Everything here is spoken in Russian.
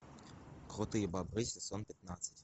крутые бобры сезон пятнадцать